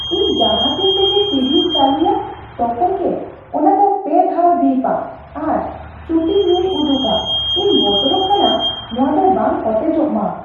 ᱤᱧ ᱡᱟᱦᱟᱸ ᱛᱤᱱ ᱨᱮᱜᱮ ᱴᱤᱵᱤᱧ ᱪᱟᱹᱞᱩᱭᱟ, ᱛᱚᱠᱷᱚᱱ ᱜᱮ ᱚᱱᱟ ᱫᱚ ᱯᱮ ᱫᱷᱟᱣᱮ ᱵᱤᱯᱼᱟ ᱟᱨ ᱪᱩᱴᱤ ᱧᱩᱤ ᱩᱫᱩᱜᱼᱟ ᱾ ᱤᱧ ᱵᱚᱛᱚᱨᱚᱜ ᱠᱟᱱᱟ ᱱᱚᱣᱟ ᱫᱚ ᱵᱟᱝ ᱚᱴᱮᱡᱚᱜ ᱢᱟ ᱾